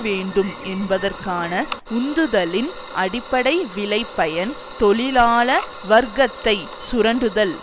வேண்டும் என்பதற்கான உந்துதலின் அடிப்படை விளைபயன் தொழிலாள வர்க்கத்தை சுரண்டுதல்